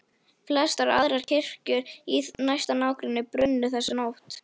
Flestar aðrar kirkjur í næsta nágrenni brunnu þessa nótt.